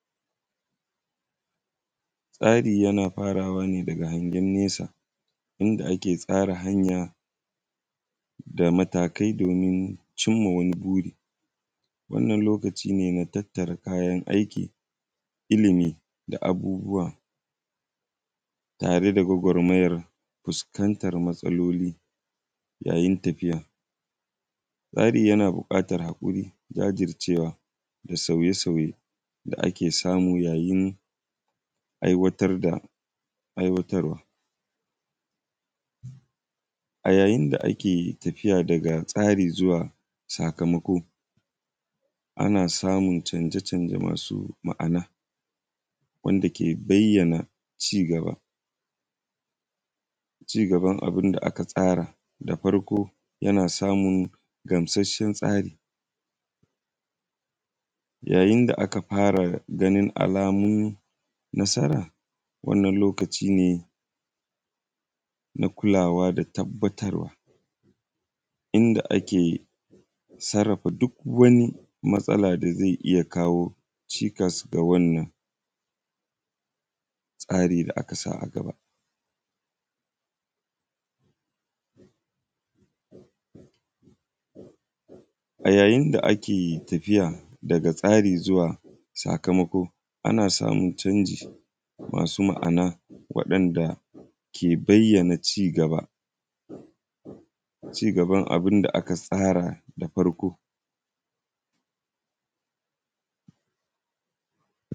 Tsari yana faraway ne daga hangen nesa, inda ake tsara hanya da matakai domin cim ma wani buri. Wannan lokaci ne na tattara kayan aiki, ilimi da abubuwa tare da gwagwarmayar fuskantar matsaloli yayin tafiya. Tsari yana buƙatar haƙuri, jajircewa da sauye-sauye da ake samu yayin aiwatar da, aiwatarwa. A yayin da ake tafiya daga tsari zuwa sakamako, ana samun canje-canje masu ma’ana wanda ke bayyana cigaba, cigaban abin da aka tsara. Da farko, yana samun gamsasshen tsari, yayin da aka fara ganin alamun nasara, wannan lokaci ne na kulawa da tabbatarwa, inda ake sarrafa duk wani matsala da ze iya kawo cikas ga wannan tasri da aka sa a gaba. A yayin da ake tafiya daga tsari zuwa sakamako ana samun canji masu ma’ana waɗanda ke bayyana cigaba, cigaban abin da aka tsara da farko.